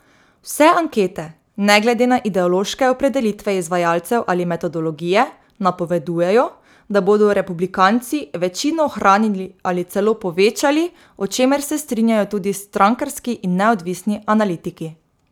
Vse ankete, ne glede na ideološke opredelitve izvajalcev ali metodologije, napovedujejo, da bodo republikanci večino ohranili ali celo povečali, o čemer se strinjajo tudi strankarski in neodvisni analitiki.